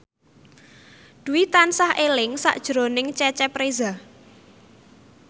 Dwi tansah eling sakjroning Cecep Reza